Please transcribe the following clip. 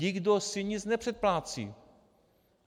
Nikdo si nic nepředplácí.